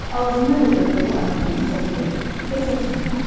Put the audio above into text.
ağzına qədər dolu arabanın səsi gəlir və çox sevindim.